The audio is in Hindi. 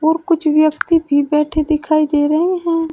कुछ व्यक्ति भी बैठे दिखाई दे रहे हैं।